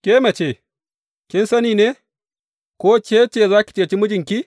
Ke mace, kin sani ne, ko ke ce za ki ceci mijinki?